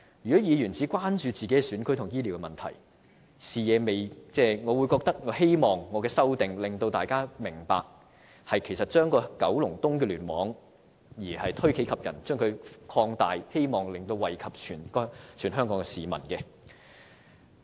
如果議員只關注自己選區的醫療問題，我希望我的修正案能令大家明白推己及人，將視野從九龍東聯網擴大至其他聯網，從而惠及全港市民。